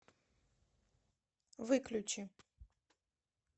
выключи